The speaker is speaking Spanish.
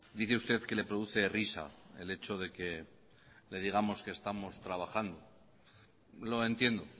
dice usted que le produce risa el hecho de que le digamos que estamos trabajando lo entiendo